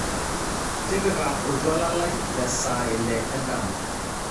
tipika oltuala lai lesaa ile endama